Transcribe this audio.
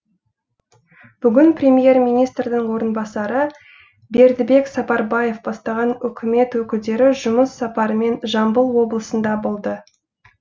бүгін премьер министрдің орынбасары бердібек сапарбаев бастаған үкімет өкілдері жұмыс сапарымен жамбыл облысында болды